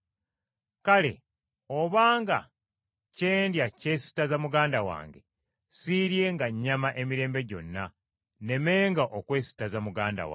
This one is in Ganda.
Kale obanga kye ndya kyesittaza muganda wange, siryenga nnyama emirembe gyonna, nnemenga okwesittaza muganda wange.